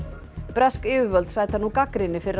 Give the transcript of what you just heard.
bresk yfirvöld sæta nú gagnrýni fyrir